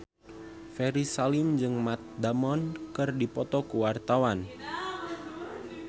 Ferry Salim jeung Matt Damon keur dipoto ku wartawan